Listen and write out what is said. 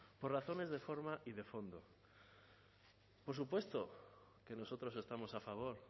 por razones de forma y de fondo por supuesto que nosotros estamos a favor